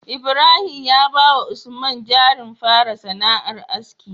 Ibrahim ya bawa usman jarin fara sana'ar aski